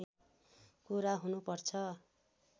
कुरा हुनुपर्छ